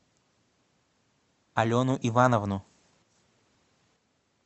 алену ивановну